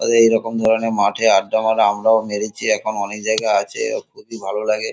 তাদের এইরকম ধরণের মাথে আড্ডা মারা আমরাও মেরেছি এখন অনেক জায়গায় আছে খুবই ভালো লাগে।